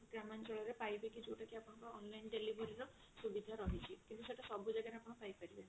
ଗ୍ରାମାଞ୍ଚଳ ରେ ପାଇବେ କି ଯଉଟା କି ଆପଣଙ୍କର online delivery ର ସୁବିଧା ରହିଛି କିନ୍ତୁ ସେଟା ସବୁ ଜାଗା ରେ ଆପଣ ପାଇପାରିବେନି